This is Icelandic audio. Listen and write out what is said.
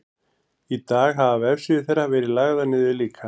í dag hafa vefsíður þeirra verið lagðar niður líka